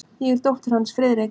Ég er dóttir hans, Friðrik.